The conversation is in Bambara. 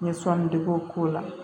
N ye sɔnnidegew k'o la